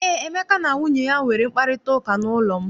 Eé, Emeka na nwunye ya nwere mkparịtaụka n'ụlọ m.